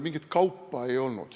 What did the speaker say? Mingit kaupa ei olnud.